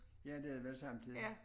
Ja det er det samtidig